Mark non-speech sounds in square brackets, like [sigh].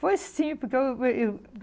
Foi simples porque eu. [unintelligible]